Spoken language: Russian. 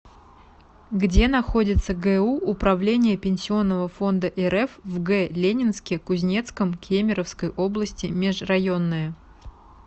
где находится гу управление пенсионного фонда рф в г ленинске кузнецком кемеровской области межрайонное